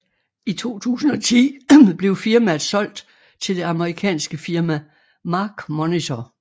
I 2010 blev firmaet solgt til det amerikanske firma MarkMonitor